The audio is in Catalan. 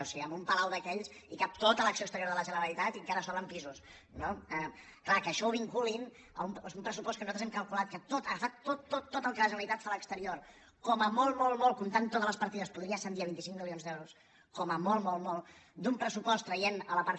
o sigui en un palau d’aquells hi cap tota l’acció exterior de la generalitat i encara sobren pisos no és clar que això ho vinculin a un pressupost que nosaltres hem calculat que tot agafat tot tot tot el que la generalitat fa a l’exterior com a molt molt molt comptant totes les partides podria ascendir a vint cinc milions d’euros com a molt molt molt d’un pressupost traient la part